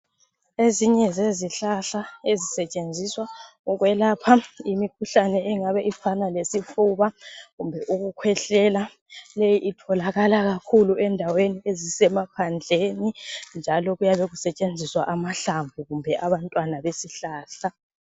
ezinye zezihlahla ezisetshenziswa ukwelapha imikhuhlane engabe ifana lesifuba kumbe ukukhwehlela leyi itholakala kakhulu endaweni ezisemaphandleni njalo kuyabe kusetshenziswa amahlamvu kumbe abantwana bezihlahla